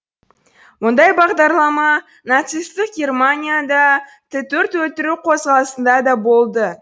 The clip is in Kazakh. мұндай бағдарлама нацистік германияда т төрт өлтіру қозғалысында да болды